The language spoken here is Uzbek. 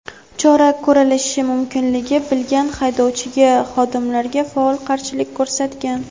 chora ko‘rilishi mumkinligi bilgan haydovchi xodimlarga faol qarshilik ko‘rsatgan.